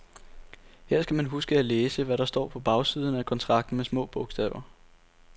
Her skal man huske at læse, hvad der står på bagsiden af kontrakten med små bogstaver.